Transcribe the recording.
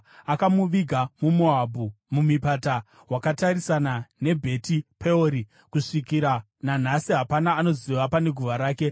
Akamuviga muMoabhu, mumupata wakatarisana neBheti Peori, kusvikira nanhasi hapana anoziva pane guva rake.